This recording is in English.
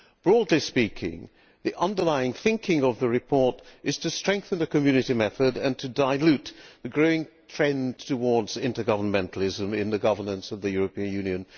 Broadly speaking, the underlying thinking behind the report is to strengthen the Community method and to dilute the growing trend towards intergovernmentalism in the governance of the European Union.